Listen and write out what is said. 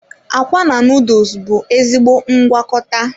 Akwa na noodles bụ ezigbo ngwakọta.